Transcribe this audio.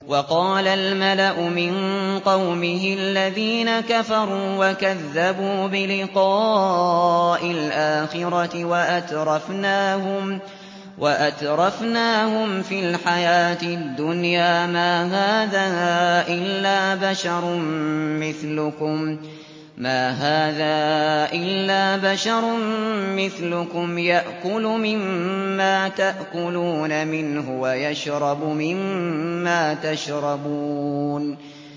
وَقَالَ الْمَلَأُ مِن قَوْمِهِ الَّذِينَ كَفَرُوا وَكَذَّبُوا بِلِقَاءِ الْآخِرَةِ وَأَتْرَفْنَاهُمْ فِي الْحَيَاةِ الدُّنْيَا مَا هَٰذَا إِلَّا بَشَرٌ مِّثْلُكُمْ يَأْكُلُ مِمَّا تَأْكُلُونَ مِنْهُ وَيَشْرَبُ مِمَّا تَشْرَبُونَ